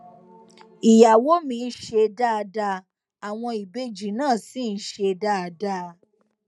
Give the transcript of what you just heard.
ìyàwó mi ń ṣe dáadáa àwọn ìbejì náà ṣì ń ṣe dáadáa